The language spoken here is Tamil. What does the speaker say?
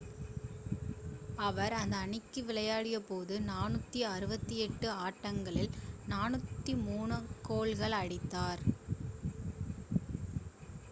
அவர் அந்த அணிக்கு விளையாடியபோது 468 ஆட்டங்களில் 403 கோல்கள் அடித்தார்